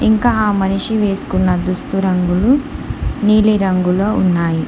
ఇంకా మనిషి వేసుకున్న దుస్తు రంగులు నీలిరంగులో ఉన్నాయి.